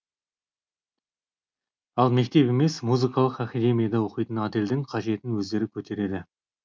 ал мектеп емес музыкалық академияда оқитын адельдің қажетін өздері көтереді